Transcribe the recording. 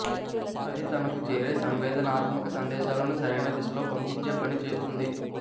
అది తనకు చేరే సంవేదనాత్మక సందేశాలను సరైన దిశలో పంపించే పని చేస్తుంది